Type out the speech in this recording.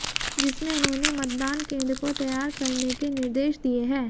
जिसमें उन्होने मतदान केंद्र को तैयार करने के निर्देश दिए है